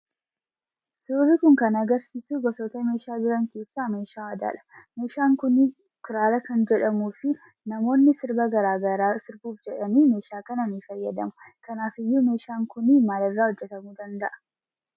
Suurri Kun kan agarsiisuu gosoota meeshaa jiran keessaa meeshaa aadaadha. Meeshaan kuniin Kiraara kan jedhamuu fi namoonni sirba garaagaraa sirbuuf jedhanii meeshaa kana ni fayyadamu. Kanaafiyyuu meeshaan Kuni maalirraa hojjetamuu danda'a?